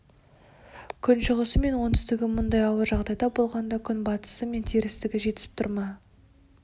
күншығысы мен оңтүстігі мұндай ауыр жағдайда болғанда күнбатысы мен терістігі жетісіп тұр ма